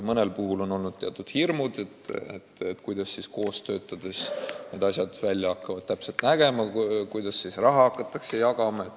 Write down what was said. Mõnel puhul on olnud teatud hirmud, kuidas koos töötades asjad hakkavad täpselt käima, kuidas raha hakatakse jagama.